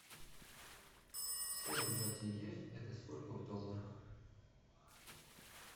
сорок два тенге это сколько в долларах